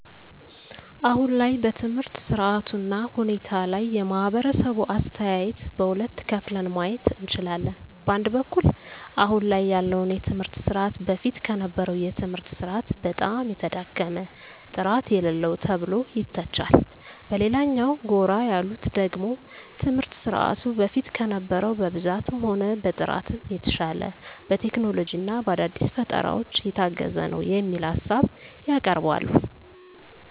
አሁን ላይ በትምህርት ስርዓቱ እና ሁኔታ ላይ የማህበረሰቡ አስተያየት በሁለት ከፍለን ማየት እንችላለን። በአንድ በኩል አሁን ላይ ያለውን የትምህርት ስርዓት በፊት ከነበረው የትምህርት ስርዓት በጣም የተዳከመ፣ ጥራት የሌለው ተብሎ ይተቻል። በሌላኛው ጎራ ያሉት ደግሞ ትምህርት ስርዓቱ በፊት ከነበረው በብዛትም ሆነ በጥራትም የተሻለ፣ በቴክኖሎጂ እና በአዳዲስ ፈጠራዎች የታገዘ ነው የሚል ሀሳብ ያቀርባሉ።